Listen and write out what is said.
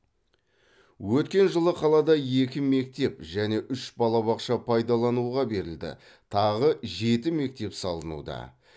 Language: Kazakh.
өткен жылы қалада екі мектеп және үш балабақша пайдалануға берілді тағы жеті мектеп салынуда